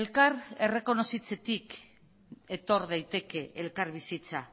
elkar errekonozitzetik etor daiteke elkarbizitza